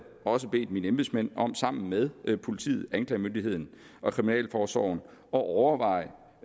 også bedt mine embedsmænd om sammen med politiet anklagemyndigheden og kriminalforsorgen at overveje